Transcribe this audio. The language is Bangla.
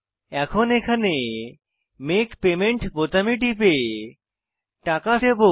এখন এখানে মেক পেমেন্ট বোতামে টিপে টাকা দেবো